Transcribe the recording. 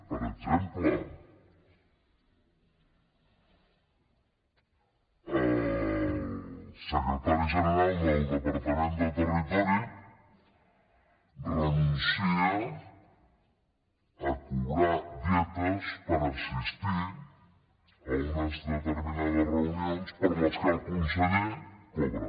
per exemple el secretari general del departament de territori renuncia a cobrar dietes per assistir a unes determinades reunions per les quals el conseller cobra